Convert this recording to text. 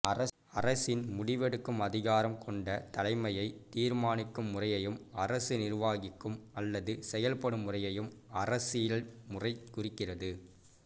அரசின் முடிவெடுக்கும் அதிகாரம் கொண்ட தலைமையை தீர்மானிக்கும் முறையையும் அரசு நிர்வாகிக்கும் அல்லது செயற்படும் முறையையும் அரசியல் முறை குறிக்கிறது